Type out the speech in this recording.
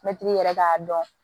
Mɛtiri yɛrɛ k'a dɔn